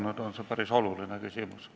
See on päris oluline küsimus.